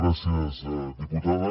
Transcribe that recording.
gràcies diputada